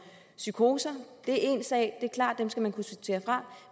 psykoser det er én sag det er klart at dem skal man kunne sortere fra